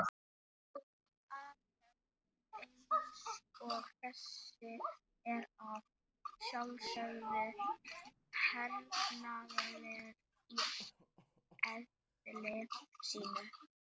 Athöfn eins og þessi er að sjálfsögðu hernaðarleg í eðli sínu.